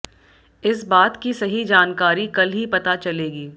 इस बात की सही जानकारी कल ही पता चलेगी